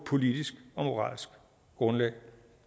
politisk og moralsk grundlag